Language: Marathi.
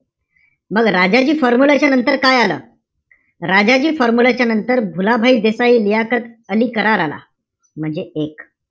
मग राजाजी formula च्या नंतर काय आलं? राजाजी formula च्या नंतर, भुलाभाई देसाई-लियाकत अली करार आला. म्हणजे एक.